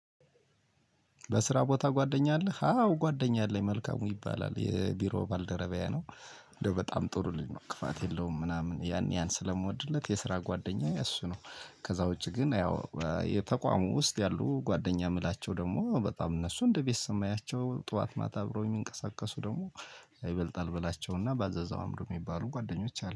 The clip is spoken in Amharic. በስራ ቦታ ጓደኛ አለህ? አዎ ጓደኛ አለኝ መልካሙ ይባላል የቢሮ ባልደረቢያዬ ነው እንደው በጣም ጥሩ ልጅ ነው ክፋት የለውም ምናምን ያን ያህል ስለምወድለት የስራ ጓደኛዬ እሱ ነው። ከዛ ውጪ ግን ያው የተቋሙ ውስጥ ያሉ ጓደኛ የምላቸው ደግሞ በጣም እነሱ እንደ ቤተሰብ የማያቸው ጠዋት ማታ አብረውኝ የሚንቀሳቀሱ ደግሞ። ይበልጣል በላቸውና ባዘዘው አእምሮ የሚባሉ ጓደኞች አሉ